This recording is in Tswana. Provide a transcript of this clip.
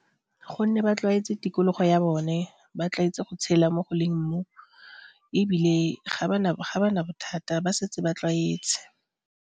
Gonne ba tlwaetse tikologo ya bone, ba tlwaetse go tshela mo go leng mmu ebile ga ba na bothata ba setse ba tlwaetse.